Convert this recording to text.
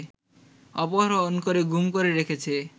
অপহরণ করে গুম করে রেখেছে